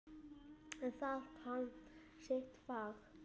En það kann sitt fag.